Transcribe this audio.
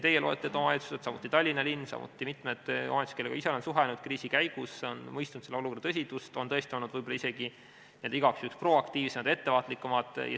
Teie loetletud omavalitsused, samuti Tallinn, samuti mitmed omavalitsused, kellega ise olen suhelnud kriisi käigus, on mõistnud olukorra tõsidust, on tõesti olnud võib-olla isegi igaks juhuks proaktiivsemad, ettevaatlikumad.